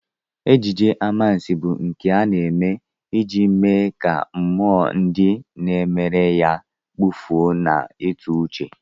Ejije anwansị bụ nke a na-eme iji mee ka mmụọ ndị na-emere ya kpafuo n'ịtụuche